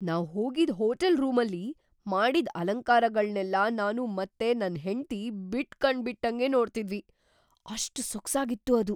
ನಾವ್‌ ಹೋಗಿದ್ ಹೋಟೆಲ್ ರೂಮಲ್ಲಿ ಮಾಡಿದ್ದ್ ಅಲಂಕಾರಗಳ್ನೆಲ್ಲ ನಾನು ಮತ್ತೆ ನನ್‌ ಹೆಂಡ್ತಿ ಬಿಟ್‌ ಕಣ್‌ ಬಿಟ್ಟಂಗೇ ನೋಡ್ತಿದ್ವಿ, ಅಷ್ಟ್‌ ಸೊಗ್ಸಾಗಿತ್ತು ಅದು!